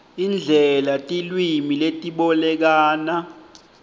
indlela tilwimi letibolekana